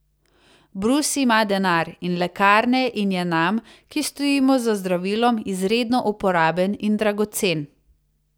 Brus ima denar in lekarne in je nam, ki stojimo za zdravilom, izredno uporaben in dragocen.